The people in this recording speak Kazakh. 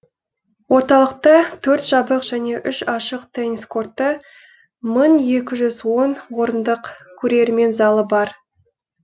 орталықта төрт жабық және үш ашық теннис корты мың екі жүз он орындық көрермен залы бар